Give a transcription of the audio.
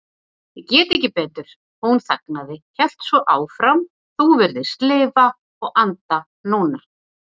Ég get ekki betur. hún þagnaði, hélt svo áfram, þú virðist lifa og anda núna.